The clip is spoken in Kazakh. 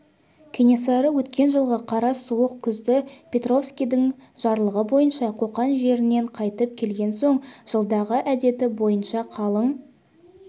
кенесары өткен жылғы қара суық күзде перовскийдің жарлығы бойынша қоқан жерінен қайтып келген соң жылдағы әдеті бойынша қалың